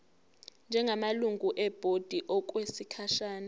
njengamalungu ebhodi okwesikhashana